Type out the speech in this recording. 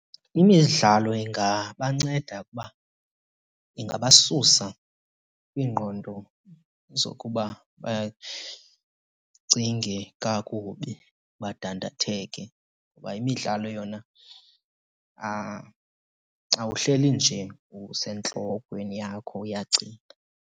Imidlalo ingabanceda ukuba ingabasusa kwiingqondo zokuba bacinge kakubi badandatheke ngoba imidlalo yona awuhleli nje usentlokweni yakho uyacinga.